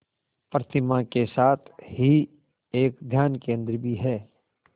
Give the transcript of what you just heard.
प्रतिमा के साथ ही एक ध्यान केंद्र भी है